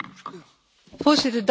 Dank voor deze vraag.